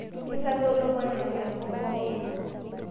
Ketogolo maisha tenkop pooki